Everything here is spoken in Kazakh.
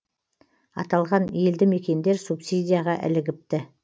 аталған елді мекендер субсидияға ілігіпті